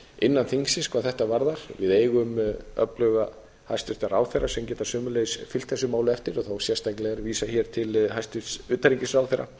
innan þingsins hvað þetta varðar við eigum öfluga hæstvirta ráðherra sem geta sömuleiðis fylgt þessu máli eftir þá sérstaklega er vísað hér til hæstvirts utanríkisráðherra